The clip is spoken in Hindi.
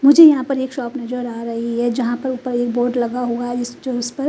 मुझे यहा पे एक शॉप नजर आ रही है जहा पर उपर एक बोर्ड लगा हुआ है इसको जो इस पर--